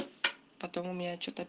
потом у меня что-то